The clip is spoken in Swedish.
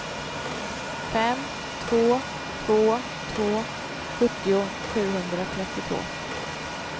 fem två två två sjuttio sjuhundratrettiotvå